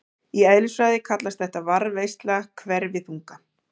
Í eðlisfræði kallast þetta varðveisla hverfiþunga.